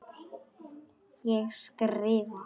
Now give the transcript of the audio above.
Ég skrifa.